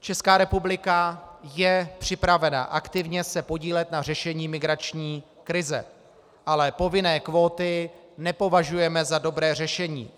Česká republika je připravena aktivně se podílet na řešení migrační krize, ale povinné kvóty nepovažujeme za dobré řešení.